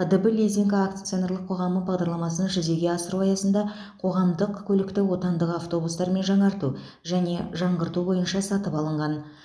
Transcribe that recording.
қдб лизинг акционерлік қоғамы бағдарламасын жүзеге асыру аясында қоғамдық көлікті отандық автобустармен жаңарту және жаңғырту бойынша сатып алынған